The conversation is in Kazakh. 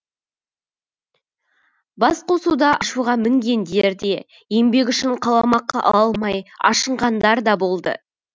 басқосуда ашуға мінгендер де еңбегі үшін қаламақы ала алмай ашынғандар да болды